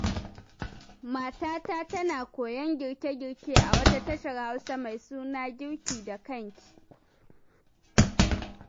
Matata tana koyon girke-girke a wata tashar Hausa mai suna 'Girka da kanki'.